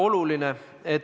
No ei ole, sellist asja ei ole!